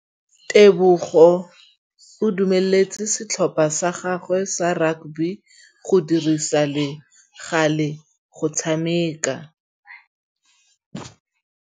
Tebogô o dumeletse setlhopha sa gagwe sa rakabi go dirisa le galê go tshameka.